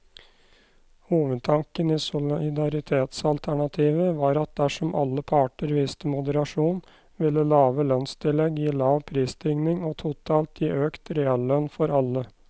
Hovedtanken i solidaritetsalternativet var at dersom alle parter viste moderasjon, ville lave lønnstillegg gi lav prisstigning og totalt gi økt reallønn for alle.